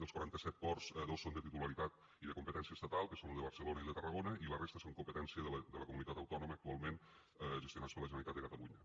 dels quaranta set ports dos són de titularitat i de competència estatal que són lo de barcelona i el de tarragona i la resta són competència de la comunitat autònoma actualment gestionats per la generalitat de catalunya